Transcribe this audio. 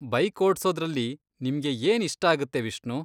Bike ಓಡ್ಸೋದ್ರಲ್ಲಿ ನಿಮ್ಗೆ ಏನ್ ಇಷ್ಟಾಗತ್ತೆ ವಿಷ್ಣು?